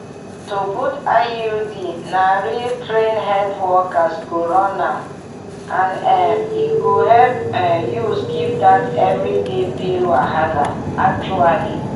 to put iud na real trained health workers go run am and um e go help um you skip that everyday pill wahala actually!